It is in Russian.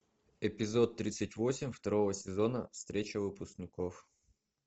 эпизод тридцать восемь второго сезона встреча выпускников